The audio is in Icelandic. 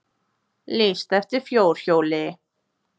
Lýst eftir fjórhjóli